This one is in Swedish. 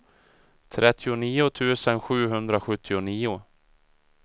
trettionio tusen sjuhundrasjuttionio